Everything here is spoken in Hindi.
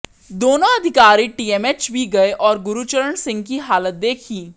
दोनों अधिकारी टीएमएच भी गए और गुरचरण सिंह की हालत देखी